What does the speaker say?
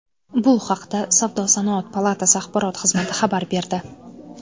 Bu haqda Savdo-sanoat palatasi axborot xizmati xabar berdi .